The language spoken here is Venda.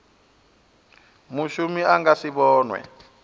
mushumi a nga si vhonwe